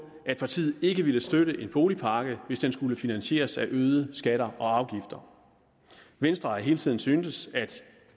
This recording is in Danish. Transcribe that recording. at partiet ikke ville støtte en boligpakke hvis den skulle finansieres af øgede skatter og afgifter venstre har hele tiden syntes at